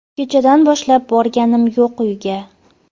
Kechadan boshlab borganim yo‘q u uyga.